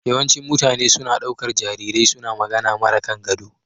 Yawancin mutane suna ɗaukar jarirai suna magana mara kangado.